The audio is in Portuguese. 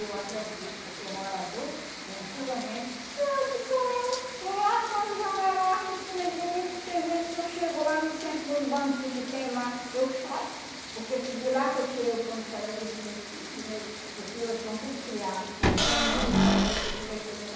Eu acredito, porque morador de antigamente, eu que sou eu, lá quando jogaram arma em cima de mim, tem vezes que eu chego lá, me sento nos banquinhos que tem lá, eu choro, porque que de lá que eu tirei o pão de cada dia para os meus filhos, do meus meus filho hoje estão tudo criados, foi o pãozinho de cada dia que eu tirei foi de lá.